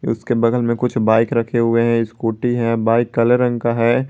उसके बगल में कुछ बाइक रखे हुए हैं स्कूटी है बाइक काले रंग का है।